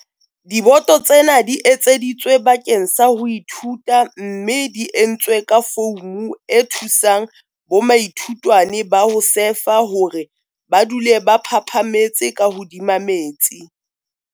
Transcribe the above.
Diboto tsena di etseditswe bakeng sa ho ithuta mme di entswe ka foumu e thusang bomaithutwane ba ho sefa hore ba dule ba phaphametse ka hodima metsi.